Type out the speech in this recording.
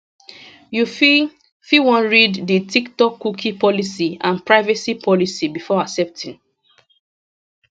you fit fit wan read di tiktokcookie policyandprivacy policybefore accepting